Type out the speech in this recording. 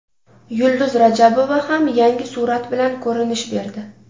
Yulduz Rajabova ham yangi surat bilan ko‘rinish berdi.